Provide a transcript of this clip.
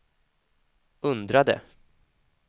undrade